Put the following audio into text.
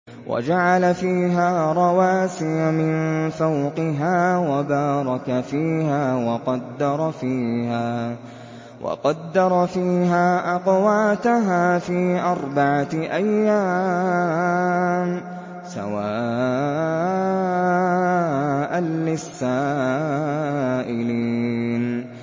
وَجَعَلَ فِيهَا رَوَاسِيَ مِن فَوْقِهَا وَبَارَكَ فِيهَا وَقَدَّرَ فِيهَا أَقْوَاتَهَا فِي أَرْبَعَةِ أَيَّامٍ سَوَاءً لِّلسَّائِلِينَ